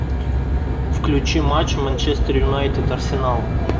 включи матч манчестер юнайтед арсенал